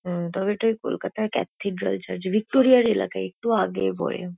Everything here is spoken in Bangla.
উম তবে এটা কলকাতার ক্যাথিড্রাল চার্চ ভিক্টরিয়া -র এলাকায় একটু আগে পরে।